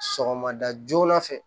Sɔgɔmada joona fɛ